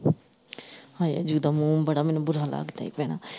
ਹਾਏ ਜਿਦਾ ਮੋਮ ਬੜਾ ਮੈਨੂੰ ਬੁਰਾ ਲੱਗਦਾ ਹੀ ਭੈਣਾਂ।